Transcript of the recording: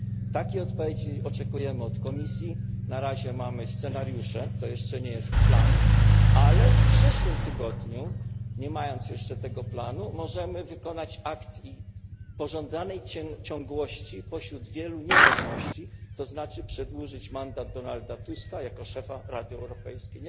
Takiej odpowiedzi oczekujemy od Komisji na razie mamy scenariusze, to jeszcze nie jest plan. Ale w przyszłym tygodniu, nie mając jeszcze tego planu, możemy dokonać aktu pożądanej ciągłości pośród wielu niepewności, to znaczy przedłużyć mandat Donalda Tuska jako szefa Rady Europejskiej.